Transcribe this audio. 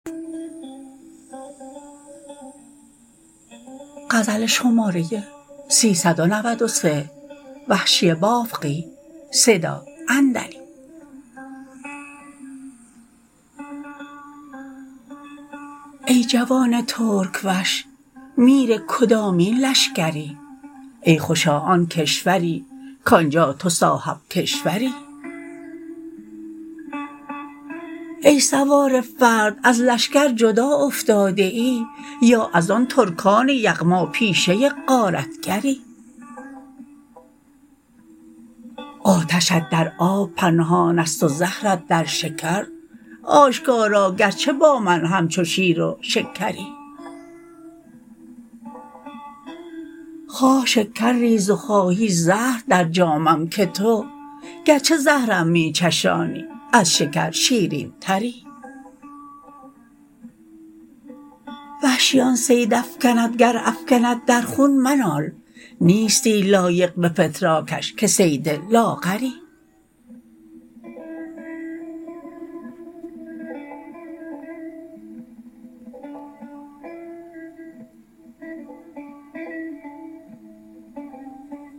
ای جوان ترک وش میر کدامین لشکری ای خوشا آن کشوری کانجا تو صاحب کشوری ای سوار فرد از لشکر جدا افتاده ای یا از آن ترکان یغما پیشه غارتگری آتشت در آب پنهانست و زهرت در شکر آشکارا گرچه با من همچو شیر و شکری خواه شکر ریز و خواهی زهر در جامم که تو گرچه زهرم می چشانی از شکر شیرین تری وحشی آن صید افکنت گر افکند در خون منال نیستی لایق به فتراکش که صید لاغری